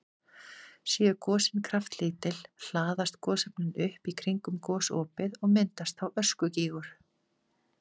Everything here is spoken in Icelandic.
Séu gosin kraftlítil hlaðast gosefnin upp í kringum gosopið og myndast þá öskugígur.